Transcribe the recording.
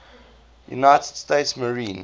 united states marine